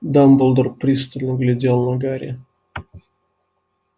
дамблдор пристально глядел на гарри